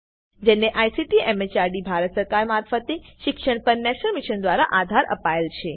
જેને ICT MHRD Bharat સરકાર મારફતે શિક્ષણ પર નેશનલ મિશન દ્વારા આધાર અપાયેલ છે